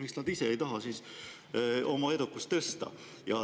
Miks nad ise ei taha oma edukust tõsta?